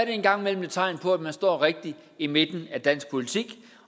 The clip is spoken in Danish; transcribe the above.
en gang imellem et tegn på at man står rigtigt i midten af dansk politik